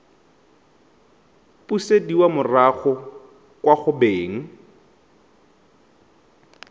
busediwa morago kwa go beng